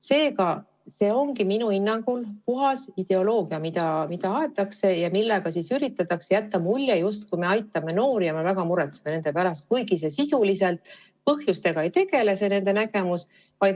Seega ongi see minu hinnangul puhas ideoloogia, mida aetakse ja millega üritatakse jätta muljet, justkui me aitaksime noori ja väga muretseksime nende pärast, kuigi põhjustega nende nägemus ei tegele.